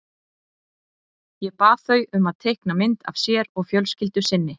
Ég bað þau um að teikna mynd af sér og fjölskyldu sinni.